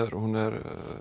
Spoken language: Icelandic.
hún er